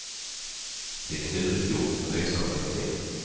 Det är klurigt gjort och nöjsamt att se.